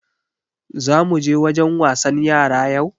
Za muje wajen wasan yara yau?